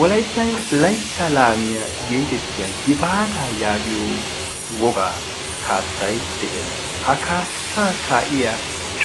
wolaittan laitta laamiyaa geetettiya gifaataa yaagiyo wogaa kaassai de7ees. ha kaassaa kaa7iya